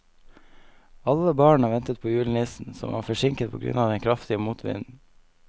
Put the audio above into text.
Alle barna ventet på julenissen, som var forsinket på grunn av den kraftige motvinden.